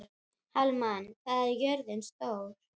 Hallmann, hvað er jörðin stór?